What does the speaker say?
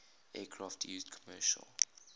aircraft used commercial